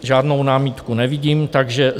Žádnou námitku nevidím, takže